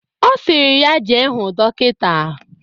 Osiri ya jee huu dokita.